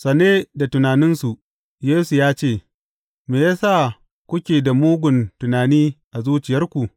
Sane da tunaninsu, Yesu ya ce, Me ya sa kuke da mugun tunani a zuciyarku?